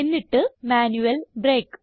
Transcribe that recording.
എന്നിട്ട് manual break